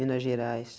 Minas gerais.